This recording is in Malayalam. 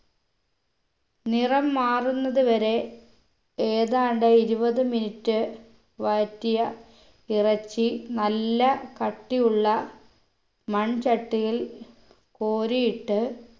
നിറം മാറുന്നത് വരെ ഏതാണ്ട് ഇരുപത് minute വഴറ്റിയ ഇറച്ചി നല്ല കട്ടിയുള്ള മൺചട്ടിയിൽ കോരിയിട്ട്